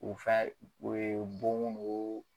U fɛn, u ye don